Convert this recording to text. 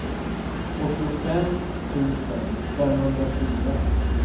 åttiofem tusen femhundrafyra